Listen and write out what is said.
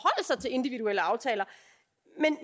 individuelle aftaler